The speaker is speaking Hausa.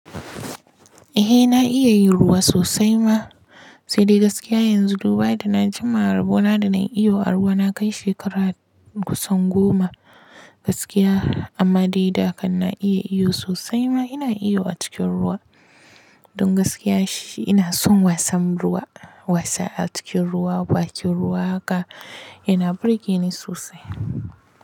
Eh na iya yin ruwa sosai ma, sai dai gaskiya yanzu duba da na jima rabona da na yi iwo a ruwa na kai shekara kusan goma gaskiya amma dai da kan na iya iyo sosai ma ina iyo a cikin ruwa. Don gaskiya shi ina son wasan ruwa, wasa a cikin ruwa, bakin ruwa haka yana burge ni sosai.